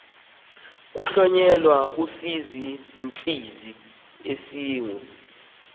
kuhlonyelwa isizinzisi esingu